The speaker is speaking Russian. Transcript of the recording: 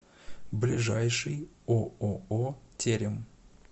ближайший ооо терем